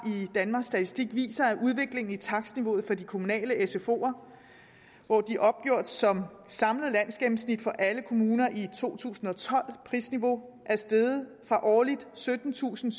danmarks statistik viser en udvikling i takstniveauet for de kommunale sfoer hvor de opgjort som samlet landsgennemsnit for alle kommuner i to tusind og tolv prisniveau er steget fra årligt syttentusinde